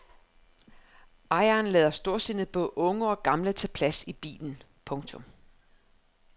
Ejeren lader storsindet både unge og gamle tage plads i bilen. punktum